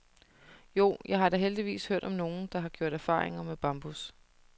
Jo, jeg har da heldigvis hørt om nogen, der har gjort erfaringer med bambus.